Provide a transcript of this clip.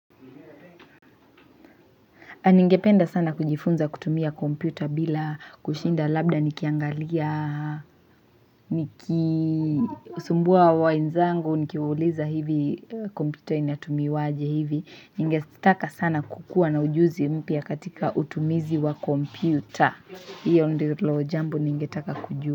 Ningependa sana kujifunza kutumia kompyuta bila kushinda labda nikiangalia, nikisumbua wenzangu, nikiuliza hivi kompyuta inatumiwaje hivi. Ningetaka sana kukua na ujuzi mpya katika utumizi wa kompyuta. Hiyo ndilo jambo ningetaka kujua.